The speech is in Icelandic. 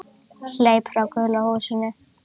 Hleyp frá gulu húsinu.